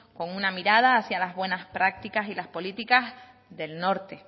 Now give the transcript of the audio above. con una mirada hacia las buenas prácticas y las políticas del norte